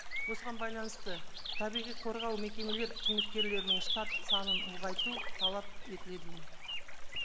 осыған байланысты табиғи қорғау мекемелер қызметкерлерінің штат санын ұлғайту талап етіледі ме